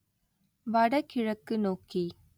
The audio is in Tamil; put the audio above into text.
வடகிழக்கு நோக்கி